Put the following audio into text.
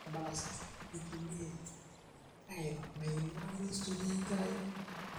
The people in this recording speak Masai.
ore telamai e enkeju nabo kat nabo tempolos odoinyio, keyieuni ndungot nkiek tomon aareeyieuni te ika